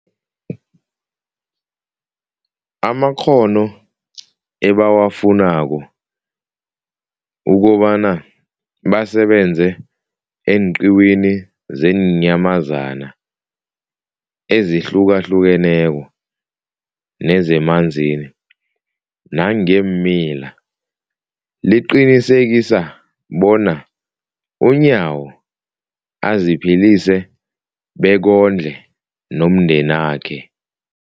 amakghono ebawafunako ukobana basebenze eenqiwini zeenyamazana ezihlukahlukeneko nezemanzini nangeemila, liqinisekisa bona uNyawo aziphilise bekondle nomndenakhe.